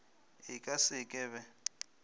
e ka se ke be